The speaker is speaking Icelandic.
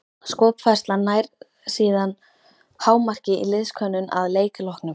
Skopfærslan nær síðan hámarki í liðskönnun að leik loknum.